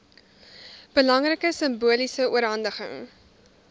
belangrike simboliese oorhandiging